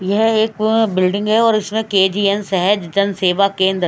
यह एक बिल्डिंग है और इसमें के_जी_एन सहज जन सेवा केंद्र--